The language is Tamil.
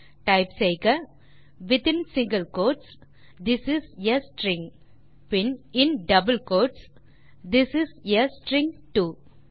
ஆகவே டைப் செய்க within single quotes this is a string பின் in double quotes this is a string to